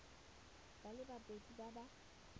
ba le babedi ba ba